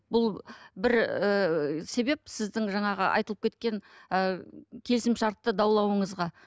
бұл бір ыыы себеп сіздің жаңағы айтылып кеткен ы келісімшартты даулауыңызға